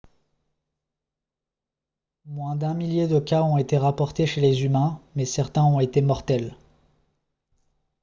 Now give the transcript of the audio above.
moins d'un millier de cas ont été rapportés chez les humains mais certains ont été mortels